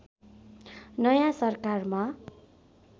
नयाँ सरकारमा